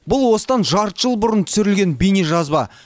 бұл осыдан жарты жыл бұрын түсірілген бейнежазба